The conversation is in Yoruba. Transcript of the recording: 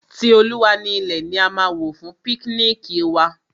Ti Olúwa ni ilẹ̀ ni a máa wò fún píknìkì wa.